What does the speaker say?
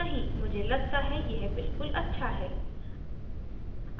मुझे लगता है यह बिल्कुल अच्छा है